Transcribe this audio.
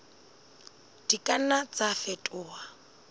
di ka nna tsa fetoha